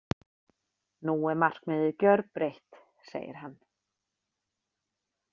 Nú er markmiðið gjörbreytt, segir hann.